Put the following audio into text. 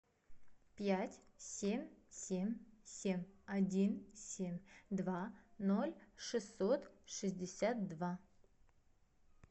пять семь семь семь один семь два ноль шестьсот шестьдесят два